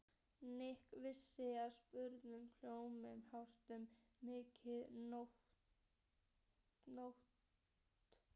Nikki vissi að spurningin hljómaði kjánalega um miðja nótt.